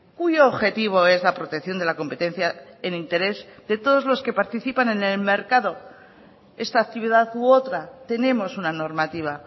cuyo objetivo es la protección de la competencia en interés de todos los que participan en el mercado esta actividad u otra tenemos una normativa